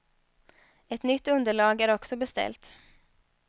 Ett nytt underlag är också beställt.